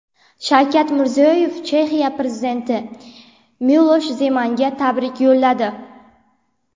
Shavkat Mirziyoyev Chexiya prezidenti Milosh Zemanga tabrik yo‘lladi.